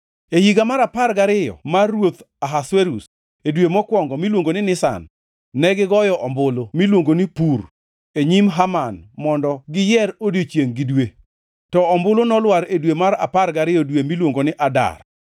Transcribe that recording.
E higa mar apar gariyo mar ruoth Ahasuerus, e dwe mokwongo, miluongo ni Nisan negigoyo ombulu (miluongo ni pur) e nyim Haman mondo giyier odiechiengʼ gi dwe. To ombulu nolwar e dwe mar apar gariyo dwe miluongo ni Adar.